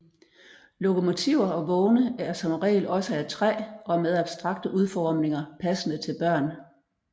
Lokomotiver og vogne er som regel også af træ og med abstrakte udformninger passende til børn